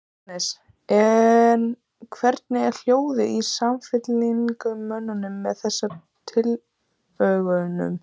Jóhannes: En hvernig er hljóðið í samfylkingarmönnum með þessum tillögum?